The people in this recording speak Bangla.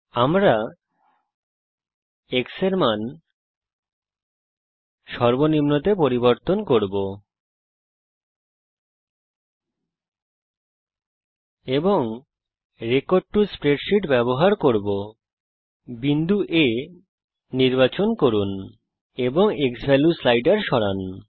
আমরা x এর মান সর্বনিম্নতে পরিবর্তন করব এবং রেকর্ড টো স্প্রেডশীট ব্যবহার করব বিন্দু A নির্বাচন করুন এবং ক্সভ্যালিউ স্লাইডার সরান